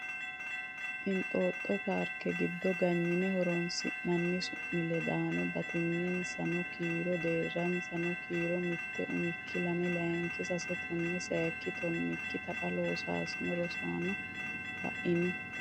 inxoxo parke gido ganyine horoonsi’nanni su’miledaano, Batinyisaano kiiro Deerrisaano kiiro mitte, umikki lame layinki sase tonne sayikki tonnikki Taqa Loossinanni Rosaano la’ini?